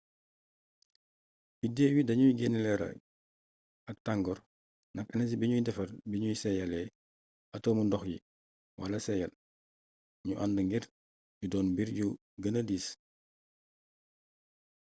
biddew yi dañuy génnee leeraay ak tangoor ndax enersi bimuy defar biñu seeyaalee atomu ndox yi wala seeyal ñu ànd ngir ñu doon mbir yu gëna diis